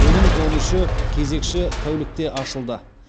оның он үші кезекші тәулікте ашылды